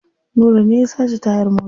Nura ne ya sace tayar motar.